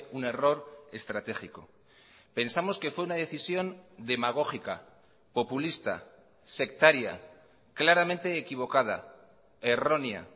un error estratégico pensamos que fue una decisión demagógica populista sectaria claramente equivocada errónea